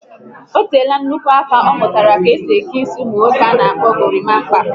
Ọ teela nnukwu aka ọ mụtara ka-esi eke isi ụmụ nwoke ana akpọ gorimapa